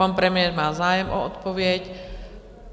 Pan premiér má zájem o odpověď.